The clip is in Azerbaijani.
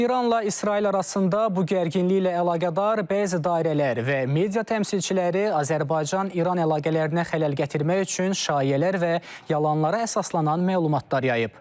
İranla İsrail arasında bu gərginliklə əlaqədar bəzi dairələr və media təmsilçiləri Azərbaycan-İran əlaqələrinə xələl gətirmək üçün şayiələr və yalanlara əsaslanan məlumatlar yayıb.